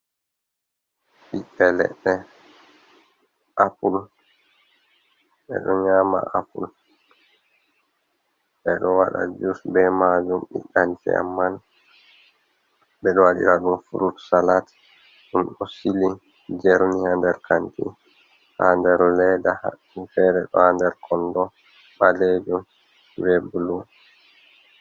Ɓiɓɓe leɗɗe. Apul, ɓe ɗo nyama apul, ɓe ɗo waɗa jus be majum ɓiɗɗa ndiyam man, ɓe do waɗira bo frut salat. Ɗum ɗo sili, jerni ha nder kanti, ha nder ledda, fere ɗo ha nder kondo, ɓaleejum be blu.